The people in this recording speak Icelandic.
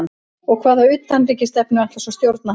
Og hvaða utanríkisstefnu ætlar svona stjórn að hafa?